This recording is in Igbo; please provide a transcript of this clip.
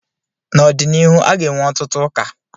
n'ọdịnihu, a ga-ewu ọtụtụ ụka